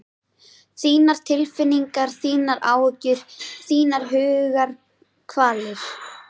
Þínar tilfinningar, þínar áhyggjur, þínar hugarkvalir.